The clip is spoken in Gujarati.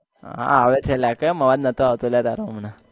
હા આવે છે અલ્યા કેમ અવાજ નાતો આવતો તારો હમણાં